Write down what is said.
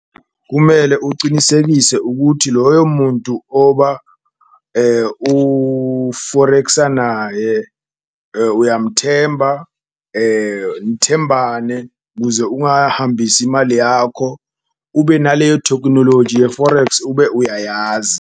Kumele ucinisekise ukuthi loyo muntu oba u-forex-sa naye uyamthemba, nithembane kuze ungahambisi imali yakho, ube naleyo tekhunoloji ye-forex ube uyayazi.